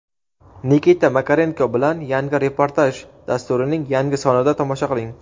Nikita Makarenko bilan "Yangi reportaj" dasturining yangi sonida tomosha qiling.